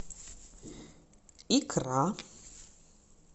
икра